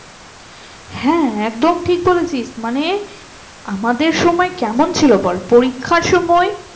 হ্যাঁ একদম ঠিক বলেছিস মানে? আমাদের সময় কেমন ছিল বল পরীক্ষার সময়